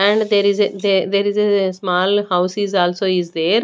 And there is a there is a small house is also is there.